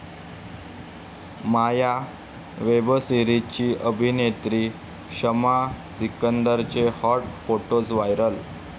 माया' वेबसीरिजची अभिनेत्री शमा सिकंदरचे हाॅट फोटोज व्हायरल!